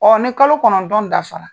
Ɔɔ ni kalo kɔnɔntɔn dafara